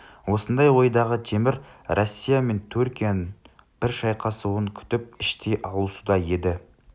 осындай ойдағы темір россия мен түркияның бір шайқасуын күтіп іштей алысуда еді